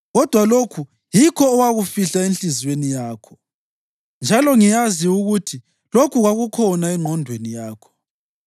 Kodwa lokhu yikho owakufihla enhliziyweni yakho, njalo ngiyazi ukuthi lokhu kwakukhona engqondweni yakho: